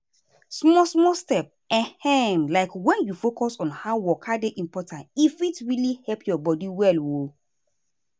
small-small step ehm like when you focus on how waka dey important e fit really help your body well. um